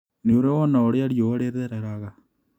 Nĩũrĩ wona ũrĩa riũa rĩthereraga?